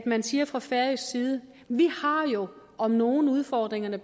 man siger fra færøsk side vi har jo om nogen udfordringerne